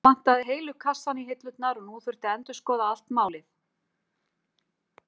Þá vantaði heilu kassana í hillurnar og nú þurfti að endurskoða allt málið.